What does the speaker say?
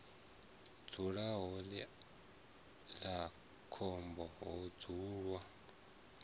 dzulaho iḽla khomba ho dzulwa